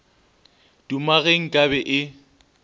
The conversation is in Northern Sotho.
duma ge nka be e